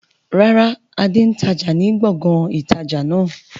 Rárá, Adé n tája ni gbọ̀ngàn ìtajà náà